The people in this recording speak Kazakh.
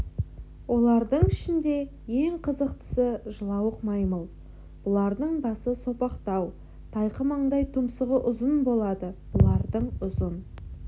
олардың ішінде ең қызықтысы жылауық маймыл бұлардың басы сопақтау тайқы маңдай тұмсығы ұзын болады бұлардың ұзын